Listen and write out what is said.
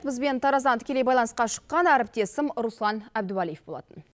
бізбен тараздан тікелей байланысқа шыққан әріптесім руслан әбдуалиев болатын